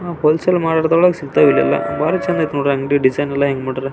hole sale ಮಾರಾಟದಲ್ಲಿ ಸಿಕ್ತಾವೆ ಇದೆಲ್ಲ ಬಾಲ್ ಚಂದ್ ಐತೆ ನೋಡ್ರಿ ಅಂಗಡಿ ಡಿಸೈನ್ ಎಲ್ಲ ಹೆಂಗ್ ಮಾಡಾರೆ --